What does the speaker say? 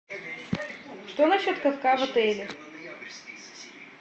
что на счет катка в отеле